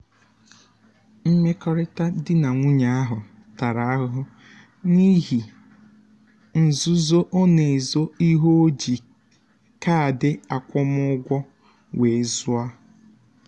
mmekọrịta di na nwunye ahụ tara ahụhụ n'ihi nzuzo ọ na-ezo ihe o ji kaadị akwụmụgwọ wee zụọ.